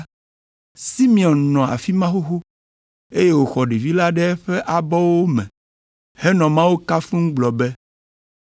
Simeon nɔ afi ma xoxo, eye wòxɔ ɖevi la ɖe eƒe abɔwo me henɔ Mawu kafum gblɔ be,